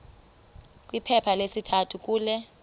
kwiphepha lesithathu kule